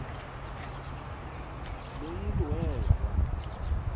lo mntu weza